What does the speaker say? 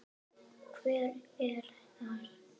Hver er þar?